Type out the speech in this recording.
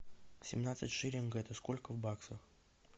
семнадцать шиллингов это сколько в баксах